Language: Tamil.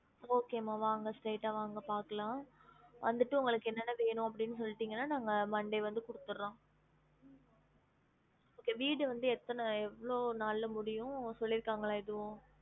Okay மா வாங்க straight ஆ வாங்க பாக்கலாம் வந்திட்டு உங்களுக்கு என்ன என்ன வேணும் அப்டின்னு சொல்லிடிங்கன்னா நாங்க monday வந்து குடுத்துறோம் okay வீடு வந்து எத்தன எவ்ளோ நாள்ல முடியும் சொல்லிருக்காங்களா எதுவும்